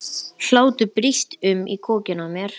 Hlátur brýst um í kokinu á mér.